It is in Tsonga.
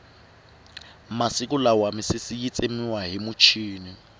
masiku lama misisi yi tsemiwa hi muchini